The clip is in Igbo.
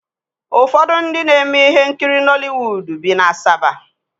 Ụfọdụ ndị na-eme ihe nkiri Nọliwuudu bi na Asaba